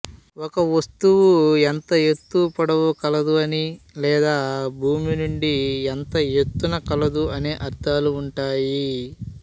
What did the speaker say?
ఒకవస్తువు ఎంత ఎత్తు పొడవు కలదు అనీ లేదా భూమి నుండి ఎంత ఎత్తున కలదు అనే అర్థాలు ఉంటాయి